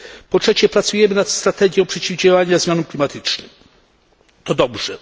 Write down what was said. Po trzecie, pracujemy nad strategią przeciwdziałania zmianom klimatycznym to dobrze.